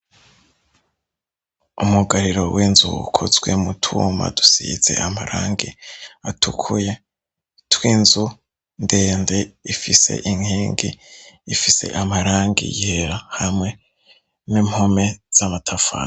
Umugariro w'inzu wukuzwe mu tuma dusize amarangi atukuye twinzu ndende ifise inkengi ifise amarangi yera hamwe n'impome z'amatafana.